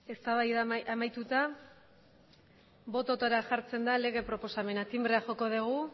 eztabaida amaituta botoetara jartzen da lege proposamena tinbrea joko dugu